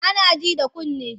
Ana ji da kunne.